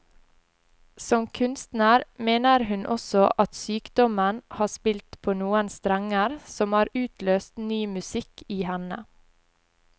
Som kunstner mener hun også at sykdommen har spilt på noen strenger som har utløst ny musikk i henne.